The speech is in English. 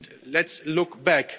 Let's look back.